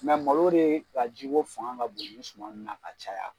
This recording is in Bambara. malo dee ka ji ko fanga ka bon nin suman nun na ka caya.